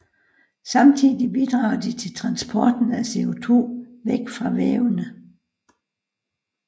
Samtidig bidrager de også til transporten af CO2 væk fra vævene